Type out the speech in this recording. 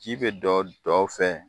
Ji be dɔ dɔw fɛ